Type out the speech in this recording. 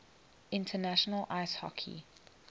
international ice hockey